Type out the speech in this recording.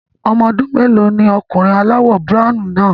Ọmọ ọdún mélòó ni ọkùnrin aláwọ̀ browny náà?